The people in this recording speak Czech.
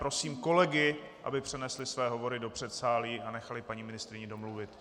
Prosím kolegy, aby přenesli své hovory do předsálí a nechali paní ministryni domluvit.